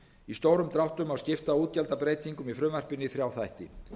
í stórum dráttum má skipta útgjaldabreytingum í frumvarpinu í þrjá þætti